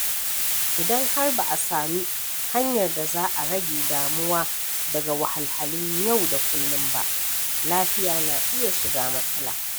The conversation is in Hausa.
Idan har ba a sami hanyar da za a rage damuwa daga wahalhalun yau da kullum ba, lafiya na iya shiga matsala.